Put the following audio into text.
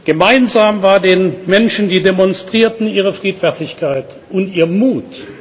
Gemeinsam waren den Menschen, die demonstrierten, ihre Friedfertigkeit und ihr